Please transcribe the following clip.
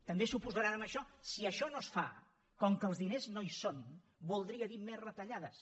també s’oposaran a això si això no es fa com que els diners no hi són voldria dir més retallades